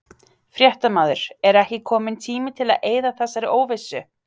Fréttamaður: Er ekki kominn tími til að eyða þessari óvissu?